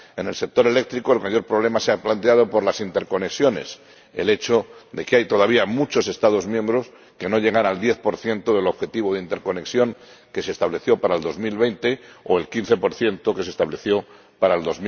En el sector eléctrico, el mayor problema se ha planteado por las interconexiones el hecho de que hay todavía muchos Estados miembros que no llegan al 10 del objetivo de interconexión que se estableció para 2020 o al 15 que se estableció para el